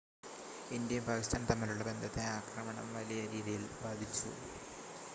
ഇന്ത്യയും പാകിസ്ഥാനും തമ്മിലുള്ള ബന്ധത്തെ ആക്രമണം വലിയ രീതിയിൽ ബാധിച്ചു